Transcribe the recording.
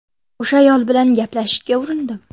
O‘sha ayol bilan gaplashishga urindim.